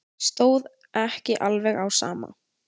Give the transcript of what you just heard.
Stóð ekki alveg á sama.